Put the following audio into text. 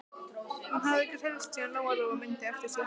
Hún hafði ekki hreyfst síðan Lóa Lóa mundi eftir sér.